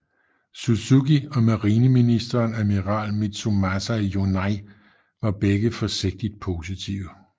Suzuki og marineministeren admiral Mitsumasa Yonai var begge forsigtigt positive